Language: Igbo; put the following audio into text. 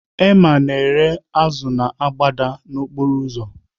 Emma ahịa azụ na-agbada n'okporo ụzọ